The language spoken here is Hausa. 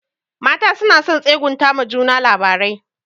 Mata suna son tsegunta ma juna labarai.